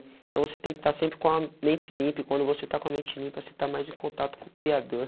Então você tem que estar sempre com a mente limpa e quando você está com a mente limpa, você está mais em contato com o Criador.